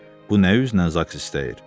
Bu nə üzdən zaks istəyir?